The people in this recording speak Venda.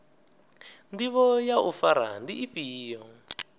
ndivho ya u fara ndi ifhio